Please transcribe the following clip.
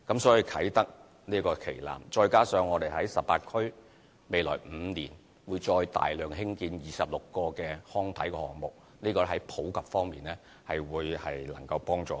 所以，啟德體育園這個旗艦，再加上我們在18區未來5年會再大量興建26個康體項目，相信在體育普及方面能帶來幫助。